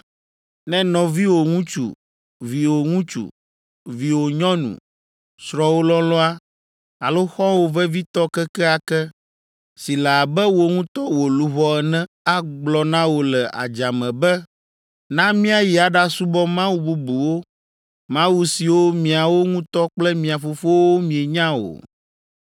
Ne nɔviwò ŋutsu, viwò ŋutsu, viwò nyɔnu, srɔ̃wò lɔlɔ̃a, alo xɔwò vevitɔ kekeake si le abe wò ŋutɔ wò luʋɔ ene agblɔ na wò le adzame be, ‘Na míayi aɖasubɔ mawu bubuwo (mawu siwo miawo ŋutɔ kple mia fofowo mienya o,